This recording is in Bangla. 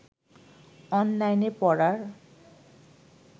অনলাইনে পড়ার